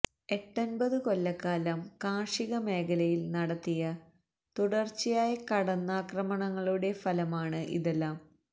എട്ടൊന്പതു കൊല്ലക്കാലം കാര്ഷിക മേഖലയില് നടത്തിയ തുടര്ച്ചയായ കടന്നാക്രമണങ്ങളുടെ ഫലമാണ് ഇതെല്ലാം